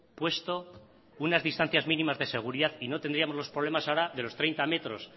puesto unas distancias mínimas de seguridad y no tendríamos ahora el problema de los treinta metros